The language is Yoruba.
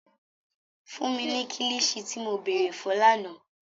Fun mi ni kilichi ti mo beere fun làná!